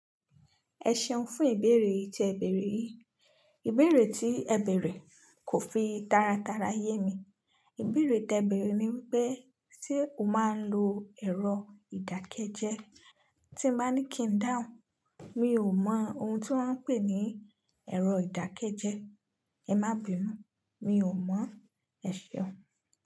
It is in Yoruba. Ẹ ṣeun fún ìbéèrè yii tí ẹ bèrè yii. Ìbéèrè tí ẹ bèrè kò fi taratara yé mi. Ìbéèrè tẹ bèrè ni wípé, "ṣé o máa ń lo ẹ̀rọ ìdákẹ́jẹ́ẹ́ tí n baa ńí kí n dáhùn?" Mi ò mọ ohun tí wón ń pè ní ẹ̀rọ ìdákẹ́jẹ́ẹ́. Ẹ má binu, mi ò mọ̀. Ẹ ṣeun.